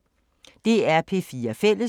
DR P4 Fælles